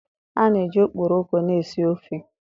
A na-eji okporoko na-esi ofe.